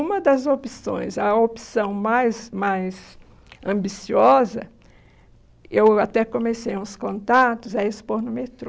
Uma das opções, a opção mais mais ambiciosa, eu até comecei uns contatos, é expor no metrô.